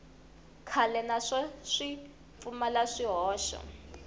kahle naswona swi pfumala swihoxo